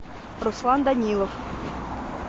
руслан данилов